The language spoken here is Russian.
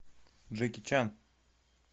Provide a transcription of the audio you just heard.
джеки чан